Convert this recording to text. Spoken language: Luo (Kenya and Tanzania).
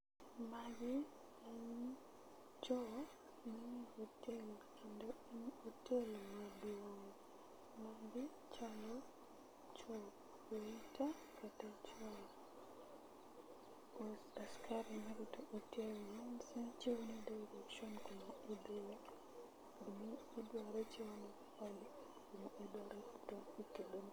Not audible